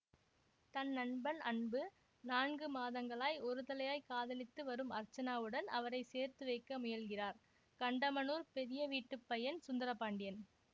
தன் நண்பன் அன்பு நான்கு மாதங்களாய் ஒரு தலையாய் காதலித்து வரும் அர்ச்சனாவுடன் அவரை சேர்த்து வைக்க முயல்கிறார் கண்டமனூர் பெரிய வீட்டு பையன் சுந்தரபாண்டியன்